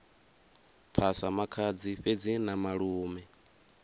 phasa makhadzi fhedzi na malume